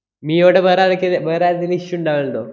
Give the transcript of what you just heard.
മിയോടെ വേറെ ആർക്കേലു~ വേറെ ആരുടേലും issue ഇണ്ടാവലുണ്ടോ?